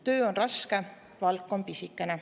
Töö on raske, palk on pisikene.